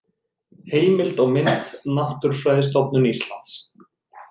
Heimild og mynd: Náttúrufræðistofnun Íslands